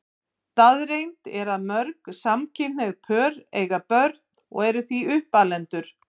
Staðreynd er að mörg samkynhneigð pör eiga börn og eru því uppalendur.